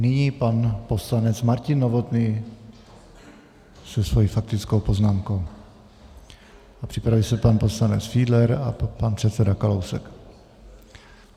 Nyní pan poslanec Martin Novotný se svou faktickou poznámkou a připraví se pan poslanec Fiedler a pan předseda Kalousek.